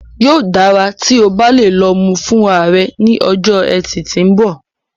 Yóò dára tí o bá lè lọ mú u fúnra rẹ ní ọjọ́ Etì tí ń bọ̀